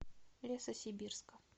лесосибирска